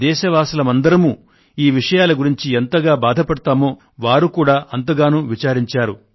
దేశవాసులం అందరమూ ఈ విషయాల గురించి ఎంతగా బాధపడతామో వారు కూడా అంతగానూ విచారించారు